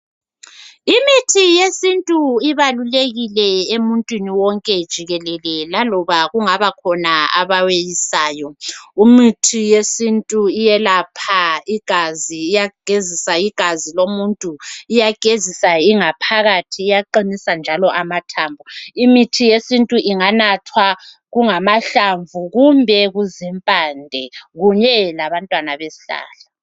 Imithi yesintu ibalulekile emuntwini wonke jikelele laloba kungabakhona abaweyosayo. Imithi yesintu iyelapha igazi, iyagezisa igazi lomuntu, iyagezisa ingaphakathi, iyaqinisa njalo amathambo. Imithi yesintu inganathwa kungamahlamvu kumbe kuzimpande kunye labantwana besihlahla.